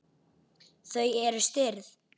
Þau eru stirð.